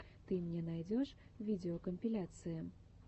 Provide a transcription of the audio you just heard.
ты мне найдешь видеокомпиляции